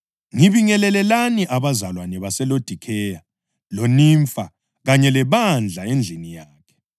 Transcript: Ngibingelelelani abazalwane abaseLodikheya loNimfa kanye lebandla endlini yakhe.